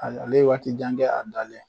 A ale ye waati jan kɛ a dalen